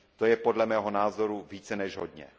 To je podle mého názoru více než hodně.